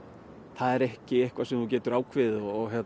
það er ekki eitthvað sem ég get ákveðið